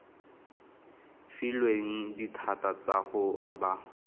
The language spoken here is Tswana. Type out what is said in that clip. filweng dithata tsa go aba